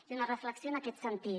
i una reflexió en aquest sentit